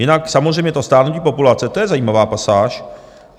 Jinak samozřejmě to stárnutí populace, to je zajímavá pasáž.